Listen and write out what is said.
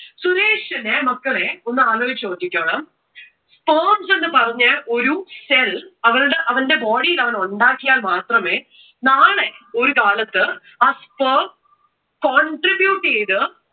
സുരേഷിന് മക്കളെ ഒന്ന് ആലോചിച്ച് നോക്കിക്കോണം. sperms എന്ന് പറഞ്ഞ ഒരു cell അവരുടെ, അവന്റെ body ഇൽ അവൻ ഉണ്ടാക്കിയാൽ മാത്രമേ നാളെ ഒരു കാലത്തു ആ sperm contribute ചെയ്ത്